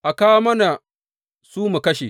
A kawo mana su mu kashe.